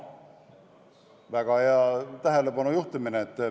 Väga hea tähelepanek!